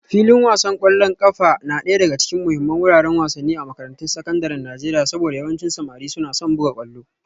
Filin wasan kwallon kafa na daya daga cikin muhimman wuraren wasanni a makarantun sakandaren Najeriya saboda yawancin samari suna son buga kwallo